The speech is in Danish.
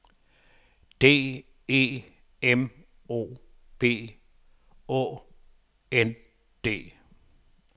D E M O B Å N D